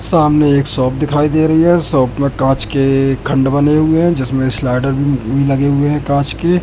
सामने एक शॉप दिखाई दे रही है शॉप में कांच के खंड बने हुए हैं जिसमें स्लाइडर ब भी लगे हुए हैं कांच के।